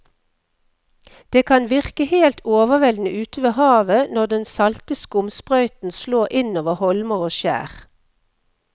Det kan virke helt overveldende ute ved havet når den salte skumsprøyten slår innover holmer og skjær.